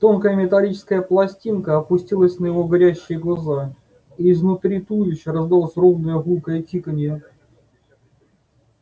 тонкая металлическая пластинка опустилась на его горящие глаза и изнутри туловища раздалось ровное гулкое тиканье